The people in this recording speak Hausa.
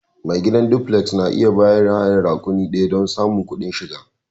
Mai gidan duflek na iya bayar da hayan rakuni ɗaya don ƙarin kudin shiga.